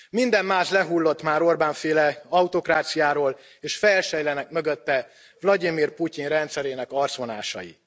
Minden más lehullott már az Orbán féle autokráciáról és felsejlenek mögötte Vlagyimir Putyin rendszerének arcvonásai.